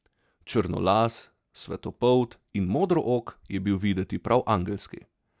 Črnolas, svetlopolt in modrook je bil videt prav angelski.